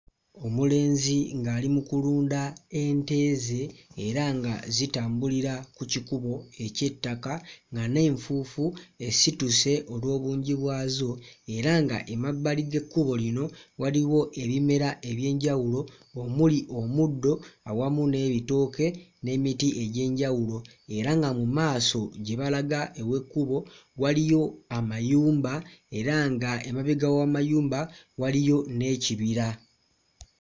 Omulenzi ng'ali mu kulunda ente ze era nga zitambulira ku kikubo eky'ettaka nga n'enfuufu esituse olw'obungi bwazo era ng'emabbali g'ekkubo lino waliwo ebimera eby'enjawulo omuli omuddo awamu n'ebitooke n'emiti egy'enjawulo era nga mu maaso gye balaga ew'ekkubo waliyo amayumba era ng'emabega w'amayumba waliyo n'ekibira.